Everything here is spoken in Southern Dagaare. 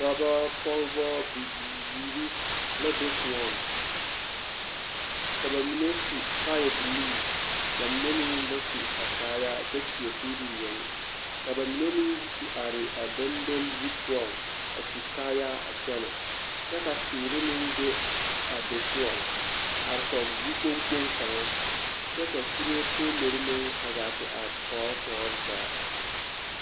Dɔbɔ, pɔgebɔ, bibiiri la be koɔŋ, ka bamine su kaayabilii bamine meŋ ba su a kaayaa kyɛ seɛ kuri yoŋ ka bamine meŋ yi te are a dondoli zu poɔŋ a su kaayaa a kyɛnɛ kyɛ ka teere meŋ be a be poɔŋ a are kɔge yikpoŋ kpoŋ kaŋa kyɛ ka kuree poolori meŋ a gaa te are tɔɔre tɔɔre zaa.